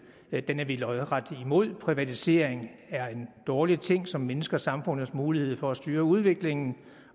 ja den er vi lodret imod privatisering er en dårlig ting som mindsker samfundets mulighed for at styre udviklingen